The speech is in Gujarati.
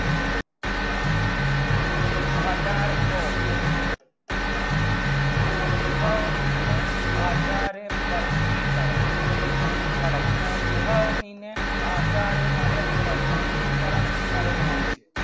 પદાર્થો ગોઠવણી ને આધારે વર્ગીકરણ ચલો ગોઠવણી ને આધારે મને વર્ગીકરણ કરવું છે